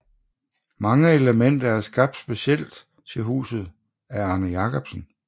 Mange elementer er skabt specielt til huset af Arne Jacobsen